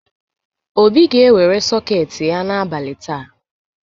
Obi ga-ewere sọketị ya n’abalị taa.